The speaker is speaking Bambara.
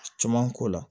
Coman k'o la